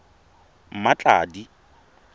mmatladi